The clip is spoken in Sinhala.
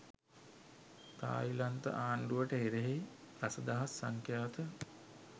තායිලන්ත ආණ්ඩුවට එරෙහි දස දහස් සංඛ්‍යාත